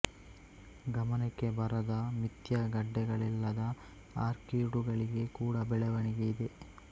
ಗಮನಕ್ಕೆ ಬರದ ಮಿಥ್ಯಾ ಗಡ್ಡೆಗಳಿಲ್ಲದ ಆರ್ಕೀಡುಗಳಿಗೆ ಕೂಡಾ ಬೆಳವಣಿಗೆ ಇದೆ